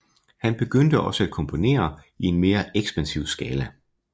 Han begyndte også at komponere i en mere ekspansiv skala